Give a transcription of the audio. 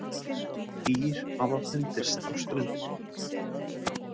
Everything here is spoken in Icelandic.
Dýr hafa fundist á ströndinni.